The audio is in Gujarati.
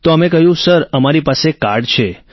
તો અમે કહ્યું સર અમારી પાસે કાર્ડ છે